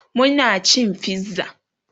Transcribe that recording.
Muna cin pizza